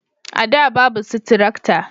a da babu su tarakta